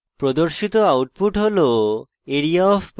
প্রদর্শিত output হল